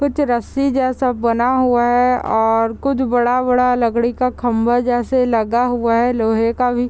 कुछ रस्सी जैसे बना हुआ है और कुछ बड़ा-बड़ा लकड़ी का खंभा जैसे लगा हुआ है लोहे का भी।